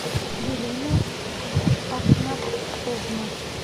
елена ахнафовна